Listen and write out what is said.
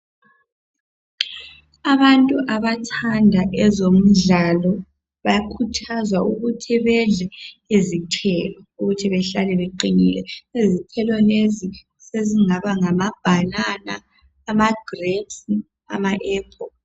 Abantu abathanda ezomdlalo bakhuthazwa ukuthi bedle izithelo ukuthi behlale beqinile. Izithelo lezi sezingaba ngama bhanana, amagirephisi kumbe ama aphula.